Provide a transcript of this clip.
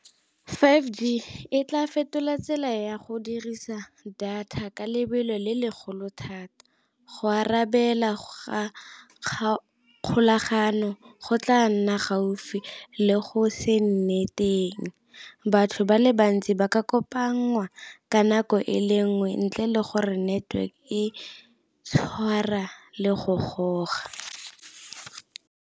Five G e tla fetola tsela ya go dirisa data ka lebelo le legolo thata, go arabela ga kgolagano go tla nna gaufi le go se nne teng, batho ba le bantsi ba ka kopanngwa ka nako e le nngwe ntle le gore network e tshwara le go goga.